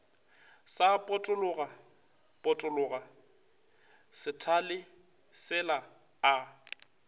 sa potologapotologa sethale sela a